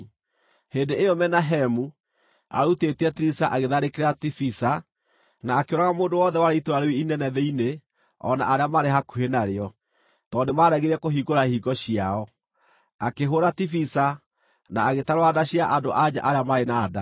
Hĩndĩ ĩyo Menahemu, arutĩtie Tiriza agĩtharĩkĩra Tifisa, na akĩũraga mũndũ wothe warĩ itũũra, rĩu inene thĩinĩ o na arĩa maarĩ hakuhĩ narĩo, tondũ nĩmaregire kũhingũra ihingo ciao. Akĩhũũra Tifisa, na agĩtarũra nda cia andũ-a-nja arĩa maarĩ na nda.